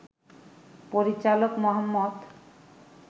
পরিচালক মুহাম্মদ